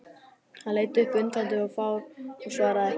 Hann leit upp undrandi og fár og svaraði ekki.